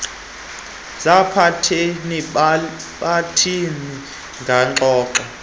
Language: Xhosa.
zabathethi bolwimi ngengxoxo